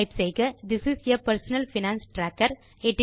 type செய்க this is a personal finance tracker